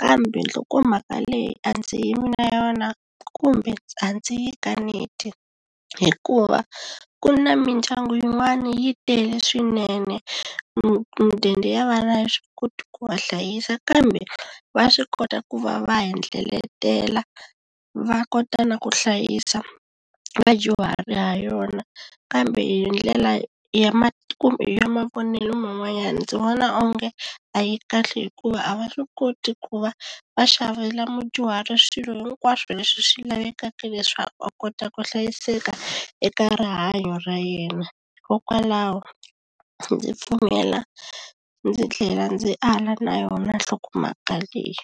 kambe nhlokomhaka leyi a ndzi yimi na yona kumbe a ndzi yi kaneti hikuva ku na mindyangu yin'wana yi tele swinene mudende ya vana a yi swi koti ku va hlayisa kambe va swi kota ku va va hendleletela va kota na ku hlayisa vadyuhari ha yona kambe hi ndlela ya kumbe ya mavonelo man'wanyana ndzi vona onge a yi kahle hikuva a va swi koti ku va va xavela mudyuhari swilo hinkwaswo leswi swi lavekaka leswaku a kota ku hlayiseka eka rihanyo ra yena hikokwalaho ndzi pfumela ndzi tlhela ndzi ala na yona nhlokomhaka leyi.